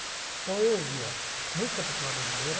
Então, eu ouvia música popular brasileira